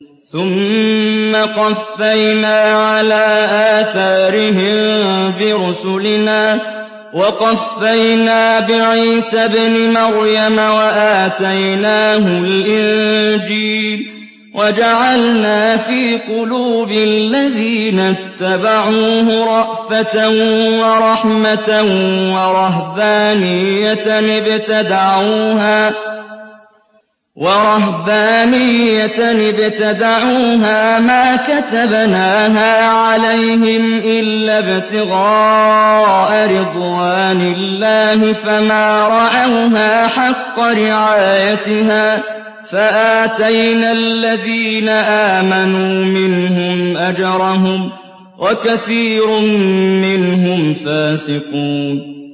ثُمَّ قَفَّيْنَا عَلَىٰ آثَارِهِم بِرُسُلِنَا وَقَفَّيْنَا بِعِيسَى ابْنِ مَرْيَمَ وَآتَيْنَاهُ الْإِنجِيلَ وَجَعَلْنَا فِي قُلُوبِ الَّذِينَ اتَّبَعُوهُ رَأْفَةً وَرَحْمَةً وَرَهْبَانِيَّةً ابْتَدَعُوهَا مَا كَتَبْنَاهَا عَلَيْهِمْ إِلَّا ابْتِغَاءَ رِضْوَانِ اللَّهِ فَمَا رَعَوْهَا حَقَّ رِعَايَتِهَا ۖ فَآتَيْنَا الَّذِينَ آمَنُوا مِنْهُمْ أَجْرَهُمْ ۖ وَكَثِيرٌ مِّنْهُمْ فَاسِقُونَ